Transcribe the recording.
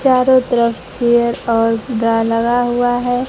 चारों तरफ चेयर और ड्रा लगा हुआ है।